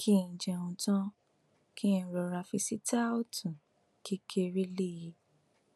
kí n jẹun tán kí n rọra fi sítáòtú kékeré lé e